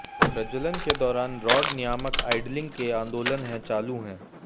प्रज्वलन के दौरान रॉड नियामक आइड्लिंग के आंदोलन है चालू है